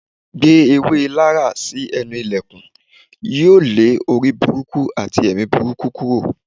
Gbé èwé Laraa si enú ìlèkùn, yóò le orí búrúkú atí èmí búburú kúrò.